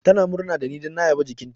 Tana murna da ni don na yaba jikinta.